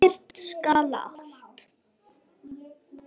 Kyrrt skal allt.